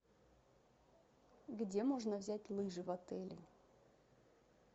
где можно взять лыжи в отеле